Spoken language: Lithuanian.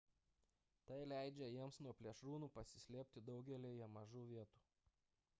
tai leidžia jiems nuo plėšrūnų pasislėpti daugelyje mažų vietų